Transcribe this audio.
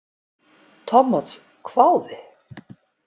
Thomas hváði.